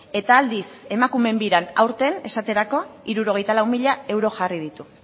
eta aldiz emakumeen biran aurten esaterako hirurogeita lau mila euro jarri ditu